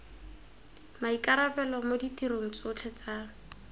maikarabelo mo ditirong tsotlhe tsa